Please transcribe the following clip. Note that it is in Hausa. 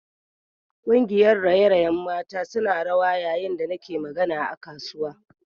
Kungiyar raye-rayen mata suna rawa yayin da nake magana a kasuwa